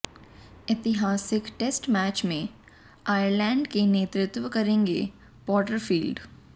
ऐतिहासिक test match में Ireland का नेतृत्व करेंगे पोर्टरफील्ड